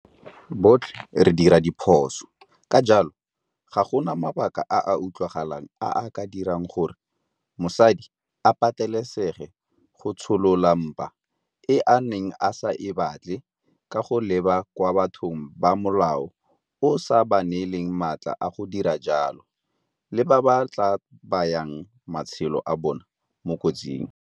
Botlhe re dira diphoso ka jalo, ga gona mabaka a a utlwagalang a a ka dirang gore mosadi a patelesege go tsholola mpa e a neng a sa e batle ka go leba kwa bathong ba molao o sa ba neelang matla a go dira jalo le ba ba tla bayang matshelo a bona mo kotsing.